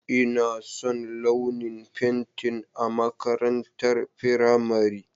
Ina son launin fentin a makarantar firamare.